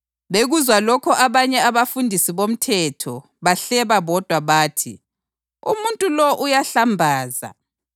Bekuzwa lokho abanye abafundisi bomthetho bahleba bodwa bathi, “Umuntu lo uyahlambaza!”